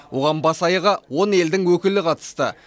оған бас аяғы он елдің өкілі қатысты